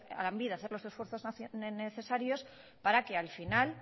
a lanbide hacer los esfuerzos necesarios para que al final